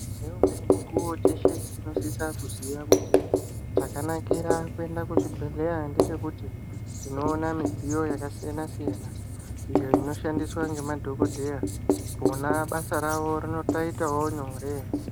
Ngeumweni mukuwo teshe tinosisa kuziya kuti chakanakira kuenda kuchibhehleya ndechekuti tinoona midziyo yakasiyana-siyana iyo inoshandiswa ngemadhokodheya vona basa ravo rinotoitawo nyore .